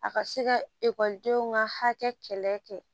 A ka se ka ekɔlidenw ka hakɛ kɛlɛ kɛ